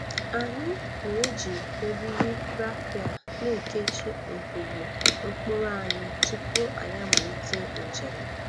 Anyi na-eji eriri rafịa na-ekechi ngwugwu mkpụrụ anyi tupu anyi amalite njem.